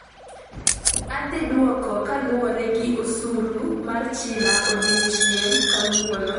Adhiduoko kaluwre gi osuru ma China odiechieng kawuono'